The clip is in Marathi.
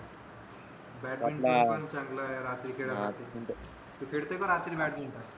बॅटमिंटन पण चांगल हे रात्री खेळाय साठी तू खेळतोय का रात्री बॅटमिंटन